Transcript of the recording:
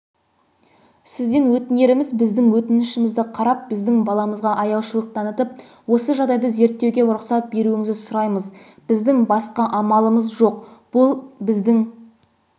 сізден өтінеріміз біздің өтінішімізді қарап біздің баламызға аяушылық танытып осы жағдайды зерттеуге рұқсат беруіңізді сұраймыз біздің басқа амалымыз жоқ бұл біздің